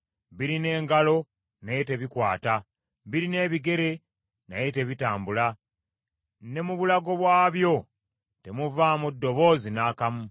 Birina engalo, naye tebikwata; birina ebigere, naye tebitambula; ne mu bulago bwabyo temuvaamu ddoboozi n’akamu,